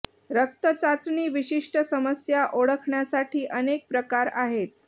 रक्त चाचणी विशिष्ट समस्या ओळखण्यासाठी अनेक प्रकार आहेत